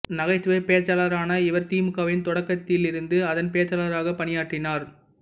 நகைச்சுவைப் பேச்சாளரான இவர் திமுகவின் தொடக்கத்திலிருந்து அதன் பேச்சாளராகப் பணியாற்றினார்